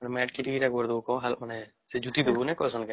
ସେ ମେଟିକିରି ଏଟା କରିଦେବୁ ମାନେ କେ ସେ ଜୁଟି ଦବୁ ନ କାଇଁସନ କେ